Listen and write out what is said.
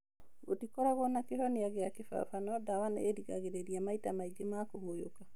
Gũtikoragwo na kĩhonia kĩa kĩbaba no ndawa nĩ irigagĩrĩria maita maingĩ ma kũhũyũka.